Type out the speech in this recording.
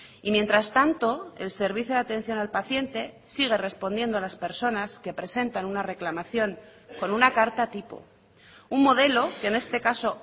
y mientras tanto el servicio de atención al paciente sigue respondiendo a las personas que presentan una reclamación con una carta tipo un modelo que en este caso